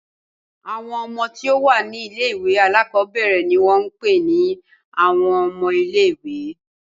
Àwọn ọmọ tí ó wà ní ilé-ìwé alákọ̀ọ́bẹ̀rẹ̀ ni wọ́n ń pè ní àwọn ọmọ ilé-ìwé.